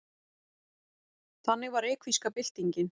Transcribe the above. Þannig var reykvíska byltingin.